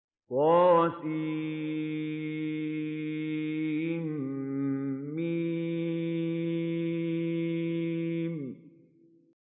طسم